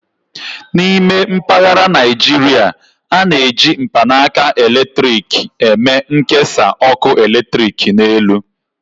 N'ime mpaghara Naijiria, a na-eji mkpanaka eletrik eme nkesa ọkụ eletrik n'elu.